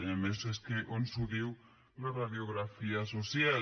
i a més és que ens ho diu la radiografia social